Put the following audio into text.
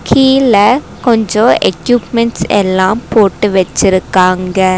கீழ கொஞ்சோ எக்யூப்மெண்ட்ஸ் எல்லா போட்டு வெச்சிருக்காங்க.